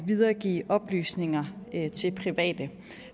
videregive oplysninger til private